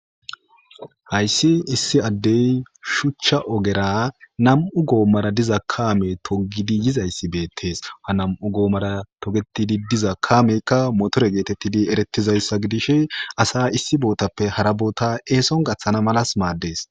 Hayssi issi addey shuchcha ogera nam'u goommara diza kaame togidi yizayssi beettees ha nam'u goomara togetidi diza kaameykka motore geetettidi erettizayssa gidish asa issi bootappe hara boota eeson gaththana malas maaddees.